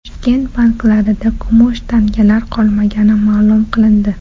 Toshkent banklarida kumush tangalar qolmagani ma’lum qilindi.